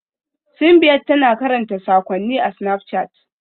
Simbiat tana karanta sakonninta a Snapchat.